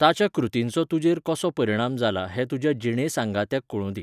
ताच्या कृतींचो तुजेर कसो परिणाम जाला हें तुज्या जिणेसांगात्याक कळूंदी.